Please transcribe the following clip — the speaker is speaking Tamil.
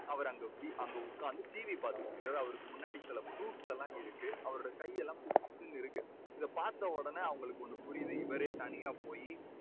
அவரு அங்க வீ~ உட்கார்ந்து TV பார்த்துட்டுருக்காரு. அவருக்கு முன்னாடி சில fruits எல்லாம் இருக்கு. அவருடைய கையெல்லாம் புஷு புஷுன்னு இருக்கு. இதைப் பார்த்த உடனே அவங்களுக்கு ஒன்னு புரியுது. இவரே தனியா போயி